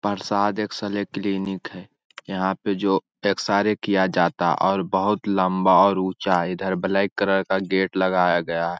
परसाद x-ray clinic है। यहाँ पे जो एक्सा-रे किया जाता और बहुत लंबा और ऊंचा है। इधर ब्लैक कलर का गेट लगाया गया --